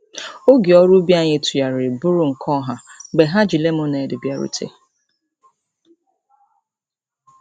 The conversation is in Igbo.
Oge ọrụ ubi anyị tụgharịrị bụrụ nke ọha mgbe ha ji lemọned bịarute.